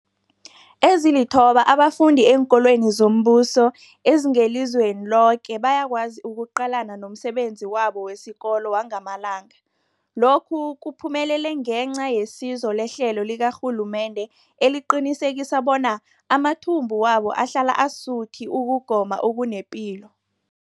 Ezilithoba abafunda eenkolweni zombuso ezingelizweni loke bayakwazi ukuqalana nomsebenzi wabo wesikolo wangamalanga. Lokhu kuphumelele ngenca yesizo lehlelo likarhulumende eliqinisekisa bona amathumbu wabo ahlala asuthi ukugoma okunepilo.